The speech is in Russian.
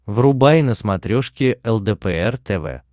врубай на смотрешке лдпр тв